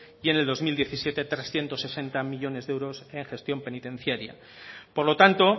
y en el dos mil diecisiete trescientos sesenta millónes de euros en gestión penitenciaria por lo tanto